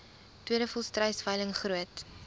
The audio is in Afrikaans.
tweede volstruisveiling groot